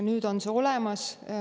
Nüüd on see olemas.